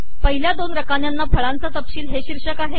पहिल्या दोन रकान्यांना फळांचा तपशील हे शीर्षक आहे